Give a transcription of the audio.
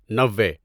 نوے